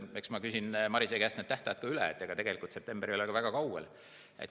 Eks ma küsin Marise käest need tähtajad üle, sest tegelikult september ei ole väga kaugel.